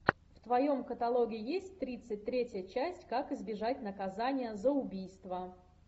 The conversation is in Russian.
в твоем каталоге есть тридцать третья часть как избежать наказания за убийство